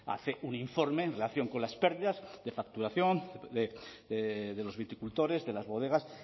hace un informe en relación con las pérdidas de facturación de los viticultores de las bodegas